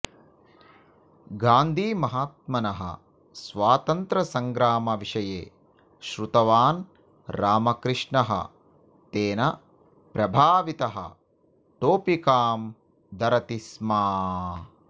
गान्धिमहात्मनः स्वातन्त्र्यसङ्ग्रामविषये श्रुतवान् रामकृष्णः तेन प्रभावितः टोपिकां धरति स्म